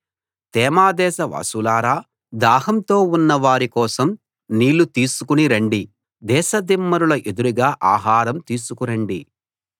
తేమా దేశ వాసులారా దాహంతో ఉన్న వారి కోసం నీళ్ళు తీసుకుని రండి దేశ దిమ్మరుల ఎదురుగా ఆహారం తీసుకు రండి